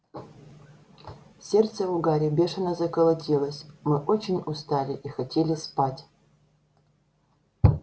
сердце у гарри бешено заколотилось мы очень устали и хотели спать